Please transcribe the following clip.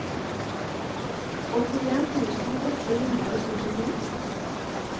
åttien tusen åtte hundre og syttito